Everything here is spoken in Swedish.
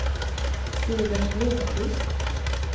Sivert Blomqvist